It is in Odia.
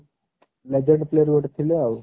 legend player ଗୋଟେ ଥିଲେ ଆଉ